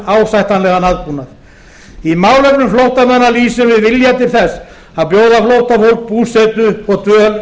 ásættanlegan aðbúnað í málefnum flóttamanna lýsum við vilja til þess að bjóða flóttafólki búsetu og dvöl hér